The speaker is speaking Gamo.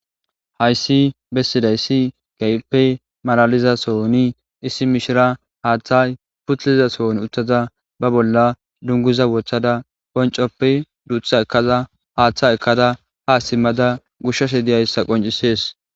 hayssi bessiday kehipe ga7ppe maraliza sooni issi mishira haaththa putliza soon uttaza ba bolla dunguza wothada poncoppe duutha ekaza haaththa ekkada ha simmada gushshase diyayssa qoncisees